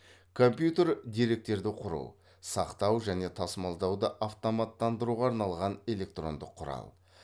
компьютер деректерді құру сақтау және тасымалдауды автоматтандыруға арналған электрондық құрал